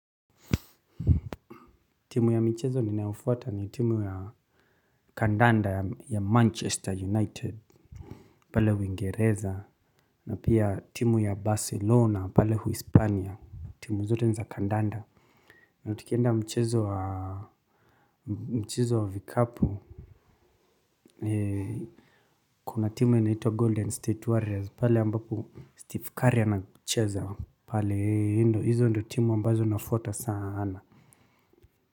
Timu ya michezo ninaofuata ni timu ya kandanda ya Manchester United. Pale uingereza na pia timu ya Barcelona pale uhispania timu zote ni za kandanda. Na tukienda mchezo wa mchezo wa vikapu. Kuna timu ni naito Golden State Warriors pale ambapo Steve Curry anachrza pale ndo hizo ndo timu ambazo nafuata sana.